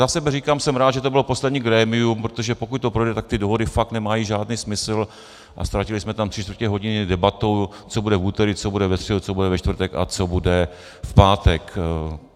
Za sebe říkám, jsem rád, že to bylo poslední grémium, protože pokud to projde, tak ty dohody fakt nemají žádný smysl a ztratili jsme tam tři čtvrtě hodiny debatou, co bude v úterý, co bude ve středu, co bude ve čtvrtek a co bude v pátek.